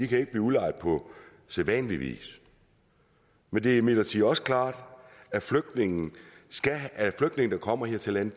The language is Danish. kan blive udlejet på sædvanlig vis men det er imidlertid også klart at flygtninge der kommer her til landet